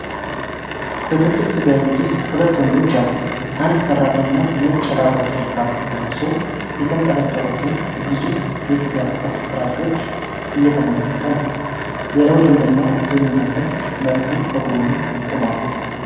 በትልቅ ስጋ ቤት ውስጥ ሁለት ወንዶች አሉ። አንድ ሰራተኛ ነጭ የላብራቶሪ ካፖርት ለብሶ የተንጠለጠሉትን ግዙፍ የስጋ ቁርጥራጮች እየተመለከተ ነው። ሌላው ደንበኛ በሚመስል መልኩ ከጎኑ ቆሟል።